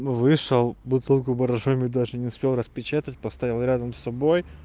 ну вышел бутылку боржоми даже не успел распечатать поставил рядом с собой